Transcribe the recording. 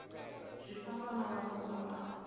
zwi fanaho na mafhungo a